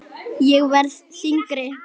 Ég verð þyngri.